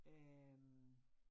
Øh